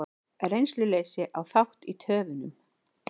Reynsluleysi á þátt í töfunum